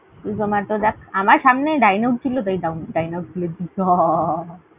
Zomato দেখ। আমার সামনে Dineout ছিল তাই Dineout খুলেছি।